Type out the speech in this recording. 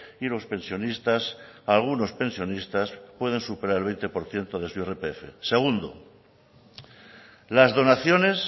y los pensionistas algunos pensionistas pueden superar el veinte por ciento de su irpf segundo las donaciones